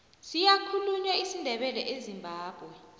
siyakhulunywa isindebele ezimbabwe